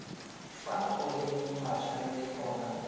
fa go leng matshwanedi gona